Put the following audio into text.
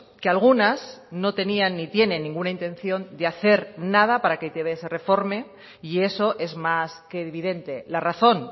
que algunas no tenían ni tienen ninguna intención de hacer nada para que e i te be se reforme y eso es más que evidente la razón